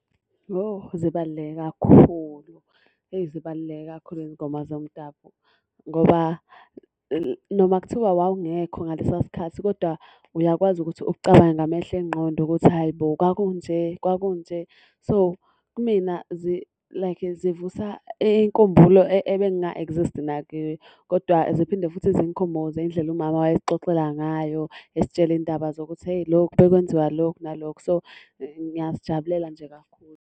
Yo zibaluleke kakhulu, hheyi zibaluleke kakhulu izingoma zomdabu ngoba noma kuthiwa wawungekho ngalesiya sikhathi kodwa uyakwazi ukuthi ucabange ngamehlo engqondo ukuthi hhayi bo kwaku nje, kwaku nje. So, kumina like zivusa inkumbulo ebenga exist-i nakiyo. Kodwa ziphinde futhi zingikhumbuze indlela umama owayesixoxela ngayo, esitshele iy'ndaba zokuthi hheyi lokhu, kwakwenziwa lokhu nalokhu. So, ngiyazijabulela nje kakhulu.